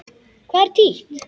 Hvað er títt?